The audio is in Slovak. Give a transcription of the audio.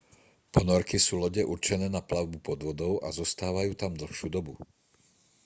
ponorky sú lode určené na plavbu pod vodou a zostávajú tam dlhšiu dobu